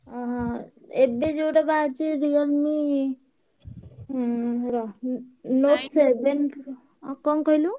ଏବେ ଯୋଉଟା ବାହାରିଛି Realme ଉଁ ରହ କଣ କହିଲୁ?